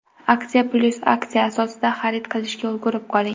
Aksiya + aksiya asosida xarid qilishga ulgurib qoling!